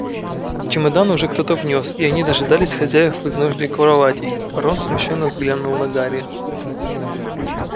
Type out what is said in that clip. чемоданы уже кто-то внёс и они дожидались хозяев в изножье кроватей рон смущённо взглянул на гарри